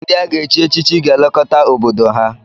Ndị a ga-echi echichi ga elekota obodo ha.